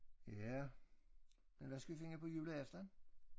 Ja. Men hvad skal vi finde på juleaften?